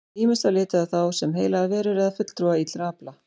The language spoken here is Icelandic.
Ýmist var litið á þá sem heilagar verur eða fulltrúa illra afla.